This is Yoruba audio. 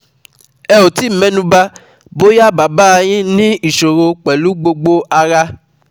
Ẹ ò tí ì mẹnuba bóyá bàbá a yín ní ìsòro pẹ̀lú gbogbo ara